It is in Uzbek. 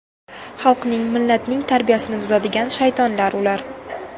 Xalqning, millatning tarbiyasini buzadigan shaytonlar ular.